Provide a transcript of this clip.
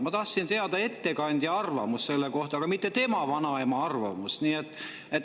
Ma tahtsin teada ettekandja arvamust selle kohta, aga mitte tema vanaema arvamust.